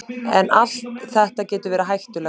En allt þetta getur verið hættulegt.